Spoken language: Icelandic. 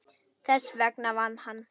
Þess vegna vann hann.